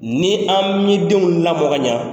Ni an mi denw lamɔ ka ɲa